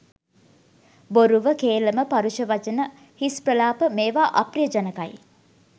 බොරුව, කේලම, පරුෂ වචන, හිස් ප්‍රලාප මේවා අප්‍රිය ජනකයි.